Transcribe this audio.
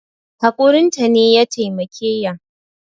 Hakurin ta ne ya taimake ya